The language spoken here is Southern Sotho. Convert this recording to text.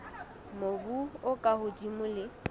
mobu o ka hodimo le